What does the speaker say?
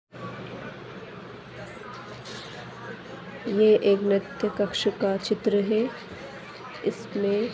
ये एक नर्तय कक्ष का चित्र है इसमें--